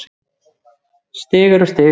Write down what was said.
Stig er stig.